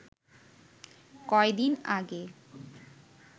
কয়দিন আগে